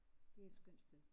Det er et skønt sted